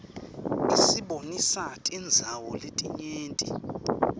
isibonisa tindzawo letinyenti